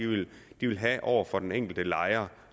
de vil have over for den enkelte lejer